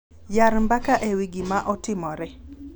Yar mbaka ewi gima otimore